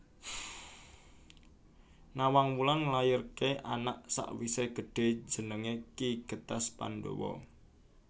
Nawangwulan nglairké anak sakwisé gedhé jenengé Ki Getas Pandawa